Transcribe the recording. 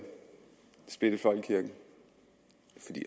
splitte folkekirken